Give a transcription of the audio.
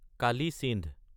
Kali Sindh